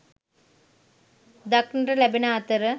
දක්නට ලැබෙන අතර